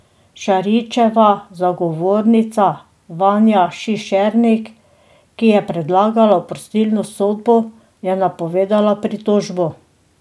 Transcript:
Šarićeva zagovornica Vanja Šišernik, ki je predlagala oprostilno sodbo, je napovedala pritožbo.